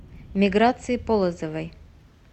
миграции полозовой